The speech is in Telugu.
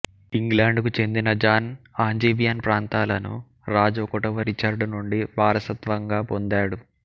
ఇంగ్లాండుకు చెందిన జాన్ ఆంజీవియన్ ప్రాంతాలను రాజు ఒకటవ రిచర్డ్ నుండి వారసత్వంగా పొందాడు